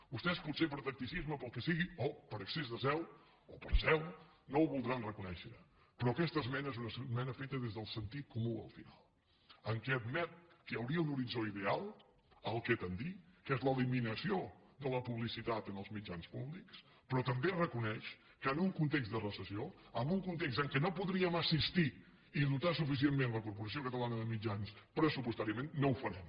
vostès potser per tacticisme pel que sigui o per excés de zel o per zel no ho voldran reconèixer però aquesta esmena és una esmena feta des del sentit comú al final en què admet que hi hauria un horitzó ideal al qual tendir que és l’eliminació de la publicitat en els mitjans públics però també reconeix que en un context de recessió en un context en què no podríem assistir i dotar suficientment la corporació catalana de mitjans pressupostàriament no ho farem